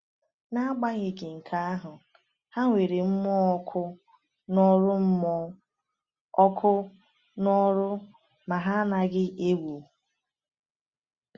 “N’agbanyeghị nke ahụ, ha nwere mmụọ ọkụ n’ọrụ mmụọ ọkụ n’ọrụ ma ha anaghị egwu.”